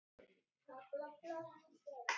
Stundin er komin.